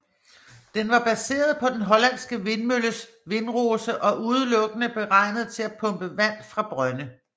Den var baseret på den hollandske vindmølles vindrose og udelukkende beregnet til at pumpe vand fra brønde